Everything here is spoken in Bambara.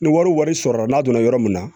Ni wari wari sɔrɔra n'a donna yɔrɔ min na